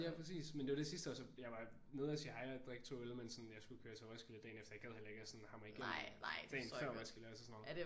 Ja præcis. Men det var det sidste år så jeg var nede og sige hej og drikke 2 øl men sådan jeg skulle køre til Roskilde dagen efter og jeg gad heller ikke at sådan hamre igennem dagen før man skal lave til sådan noget